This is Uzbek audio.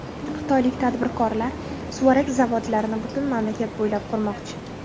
Xitoylik tadbirkorlar suvarak zavodlarini butun mamlakat bo‘ylab qurmoqchi.